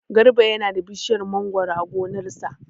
Garba yana da bishiyar mangoro a gonar sa.